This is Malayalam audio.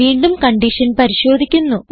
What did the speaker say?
വീണ്ടും കൺഡിഷൻ പരിശോധിക്കുന്നു